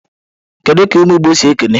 Kedu ka umu igbo si ekene?